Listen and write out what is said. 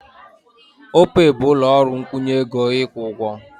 Opey bụ ụlọ ọrụ nkwụnye ego ịkwụ ụgwọ.